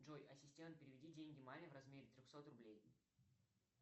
джой ассистент переведи деньги маме в размере трехсот рублей